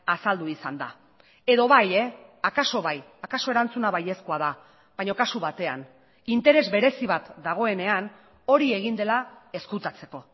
azaldu izan da edo bai akaso bai akaso erantzuna baiezkoa da baina kasu batean interes berezi bat dagoenean hori egin dela ezkutatzeko